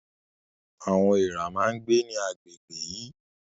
Àwọn èèrà máa ń gbé ní àgbègbè yìí